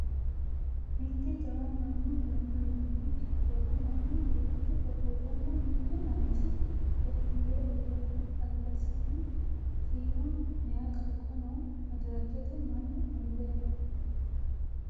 mitte jawa mannu ganba yaanno kifilera mannu duuchu ofolleenna mittu manchi gotti yee uurre no albasiinni shiima maye qaaqqo no madirakete mannu uurre no